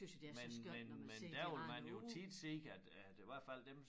Men men men der vil man jo tit se at at i hvert fald dem